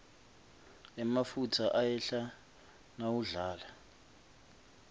emafutsa ayehla mawudlala